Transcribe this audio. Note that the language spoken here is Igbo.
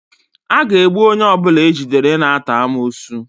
A ga-egbu onye ọbụla ejidere na-ata amoosu